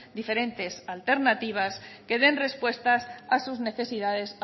diferentes alternativas que den respuestas a sus necesidades